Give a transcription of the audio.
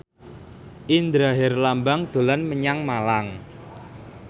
Indra Herlambang dolan menyang Malang